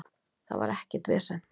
Það var ekkert vesen